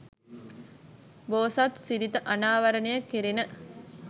බෝසත් සිරිත අනාවරණය කෙරෙන